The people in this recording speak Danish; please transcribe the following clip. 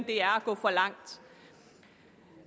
det er at gå for langt